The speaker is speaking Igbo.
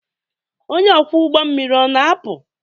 Onye ọkwọ ụgbọ mmiri ọ na-apụ?